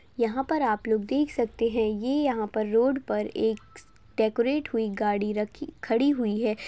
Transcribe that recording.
यहाँ पर आप लोग देख सकते है ये यहाँ पर रोड पर एक डेकोरेट हुई गाड़ी रखी खड़ी हुई है।